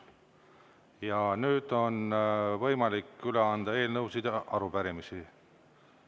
Ja nüüd on võimalik üle anda eelnõusid ja arupärimisi.